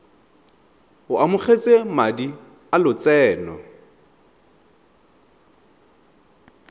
o amogetse madi a lotseno